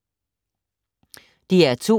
DR2